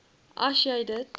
as jy dit